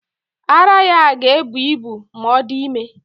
Ara ya ga-ebu ibu ma ọ dị ime.